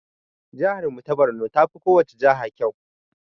Jahar mu ta Barno tafi kowacce jaha ƙyau.